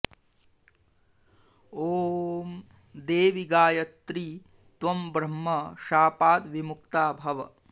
ॐ देवि गायत्री त्वं ब्रह्म शापात् विमुक्ता भव